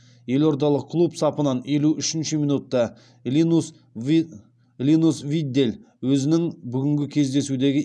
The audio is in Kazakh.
елордалық клуб сапынан елу үшінші минутта линус виддель өзінің бүгінгі кездесудегі